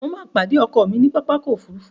Mo ma pàdé ọkọ mi ní pápákọ̀ ofúrufú